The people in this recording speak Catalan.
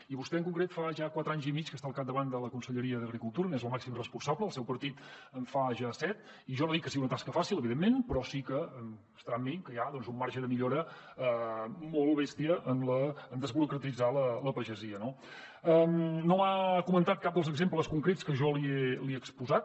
i vostè en concret fa ja quatre anys i mig que està al capdavant de la conselleria d’agricultura n’és la màxima responsable el seu partit en fa ja set i jo no dic que sigui una tasca fàcil evidentment però sí que deu estar amb mi que hi ha un marge de millora molt bèstia en desburocratitzar la pagesia no no m’ha comentat cap dels exemples concrets que jo li he exposat